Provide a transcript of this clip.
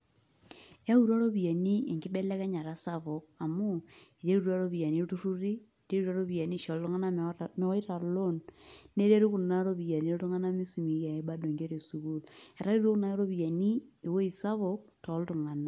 Eyautua iropiyiani enkibelekenyata sapuk amu iterutua iropiyiani ilturruri, iterutua iropiyiani aisho iltung'anak mewaita loan neretu kuna ropiyiani iltung'anak misumieki ake bado nkera esukuul, etaretutuo kuna ropiyiani ewueji sapuk toltung'anak.